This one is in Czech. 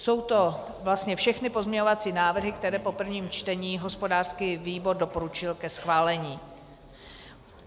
Jsou to vlastně všechny pozměňovací návrhy, které po prvním čtení hospodářský výbor doporučil ke schválení.